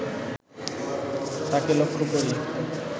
তাঁকে লক্ষ করি